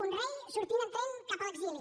un rei sortint en tren cap a l’exili